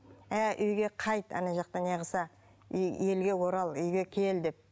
әй үйге қайт ана жақта не қылса елге орал үйге кел деп